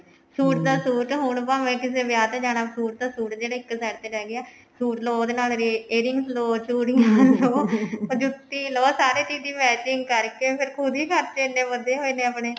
suit ਤਾਂ suit ਹੁਣ ਭਾਵੇਂ ਕਿਸੇ ਵਿਆਹ ਚ ਜਾਣਾ suit ਤਾਂ suit ਜਿਹੜੇ ਇੱਕ side ਤੇ ਰਹਿ ਗਏ ਆ suit ਲੋ ਉਹਦੇ ਨਾਲ earrings ਲੋ ਚੂੜੀਆਂ ਲੋ ਅਰ ਜੁੱਤੀ ਲਉ ਸਾਰੇ ਚੀਜ ਦੀ matching ਕਰਕੇ ਫ਼ੇਰ ਖੁੱਦ ਹੀ ਖਰਚੇ ਇੰਨੇ ਵਧੇ ਹੋਏ ਨੇ ਆਪਣੇ